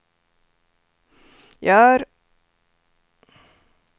gör